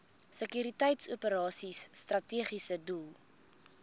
sekuriteitsoperasies strategiese doel